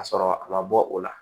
Ka sɔrɔ a ma bɔ o la